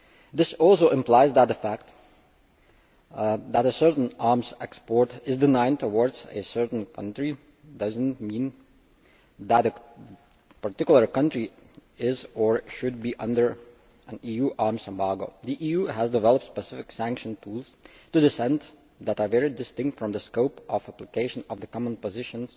This also implies that the fact that a certain arms export is denied to a certain country does not mean that a particular country is or should be under an EU arms embargo. The EU has developed specific sanction tools that are very distinct from the scope of application of the common position